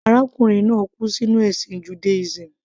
Arákùnrin náà kú sínú ẹ̀sìn Judaism.